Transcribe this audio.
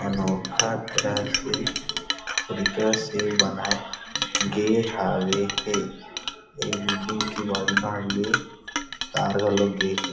अनोखा दृश्य से बनाये गे हावे हे ये बिल्डिंग के तार घलो गे हे --